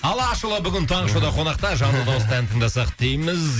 алашұлы бүгін таңғы шоуда қонақта жанды дауыста ән тыңдасақ дейміз